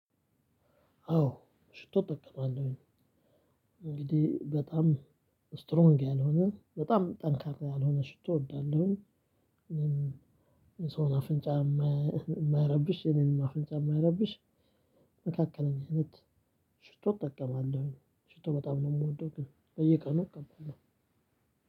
አዎ ሽቶ እጠቀማለሁኝ። እንግዲህ በጣም ስትሮንግ ያልሆነ በጣም ጠንካራ ያልሆነ ሽቶ እወዳለሁኝ። የስውን አፍንጫ የማይረብሽ የእኔንም አፍንጫ የማይረብሽ። መካከለኛ ሽቶ እጠቀማለሁኝ። ሽቶ በጣም ነው የምጠቀም በየቀኑ።